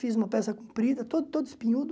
Fiz uma peça comprida, todo todo espinhudo.